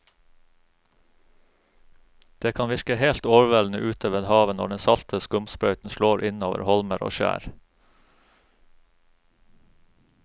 Det kan virke helt overveldende ute ved havet når den salte skumsprøyten slår innover holmer og skjær.